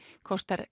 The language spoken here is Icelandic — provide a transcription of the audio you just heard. kostar